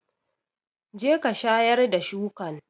Jeka shayar da shukan!